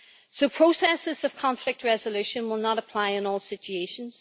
So processes of conflict resolution will not apply in all situations.